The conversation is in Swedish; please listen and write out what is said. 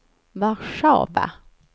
Warszawa